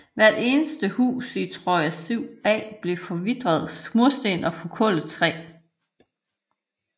Hvert eneste hus i Troja 7a blev forvitrede mursten og forkullet træ